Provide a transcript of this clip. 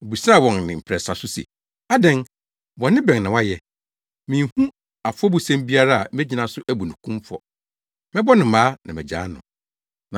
Obisaa wɔn ne mprɛnsa so se, “Adɛn? Bɔne bɛn na wayɛ? Minhu afɔbusɛm biara a megyina so abu no kumfɔ. Mɛbɔ no mmaa na magyaa no.”